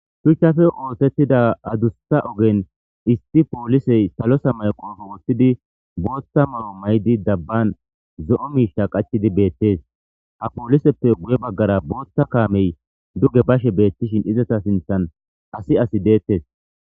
Shuchchafe ootettida adusa ogen isti poolisey salosa maqoofo woththidi bootta maro maydi dabban zo'o miisha qachidi beettes ha pooliseppe guye baggara bootta kaamey duge bashe beettishin izata sinthan asi asi deettes.